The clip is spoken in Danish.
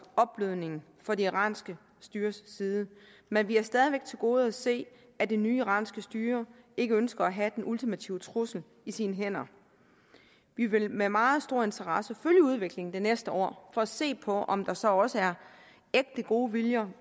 opblødning fra det iranske styres side men vi har stadig væk til gode at se at det nye iranske styre ikke ønsker at have den ultimative trussel i sine hænder vi vil med meget stor interesse følge udviklingen det næste år for at se på om der så også er ægte gode viljer